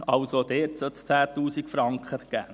Es sollte dort also 10 000 Franken geben.